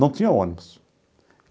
Não tinha ônibus.